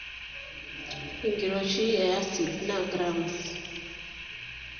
Enkiroishi e asid naa g.